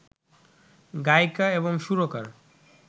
গায়িকা এবং সুরকার